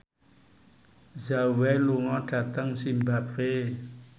Zhao Wei lunga dhateng zimbabwe